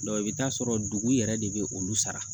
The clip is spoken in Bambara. i bɛ taa sɔrɔ dugu yɛrɛ de bɛ olu sara